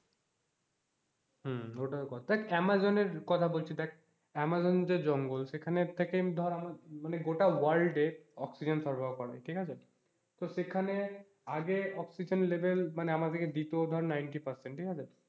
হম ওটাও কথা। দেখ আমাজনের কথা বলছি দেখ আমাজন যে জঙ্গল সেখান থেকে ধর গোটা world এর oxygen সরবরাহ করা হয় ঠিক আছে, তো সেখানে আগে oxygen level মানে আমাদেরকে দিত ধর ninety percent ঠিক আছে?